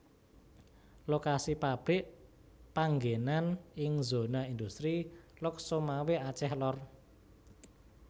Lokasi pabrik panggenan ing zona industri Lhokseumawe Aceh Lor